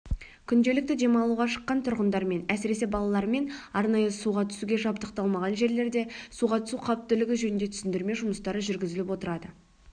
күнделікті демалуға шыққан тұрғындармен әсіресе балалармен арнайы суға түсуге жабдықталмаған жерлерде суға түсу қауіптілігі жөнінде түсіндірме жұмыстары жүргізіліп отырады